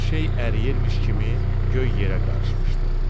Hər şey əriyirmiş kimi göy yerə qarışmışdı.